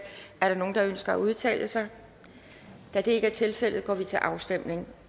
er der nogen der ønsker at udtale sig da det ikke er tilfældet går vi til afstemning